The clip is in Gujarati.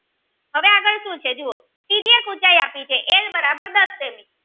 પહેલા શું છે જુઓ ત્રિજ્યા એક ઉંચાઈ આપેલી છે એલ બરાબર દસ સેમી